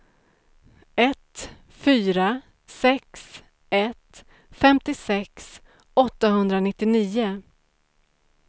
ett fyra sex ett femtiosex åttahundranittionio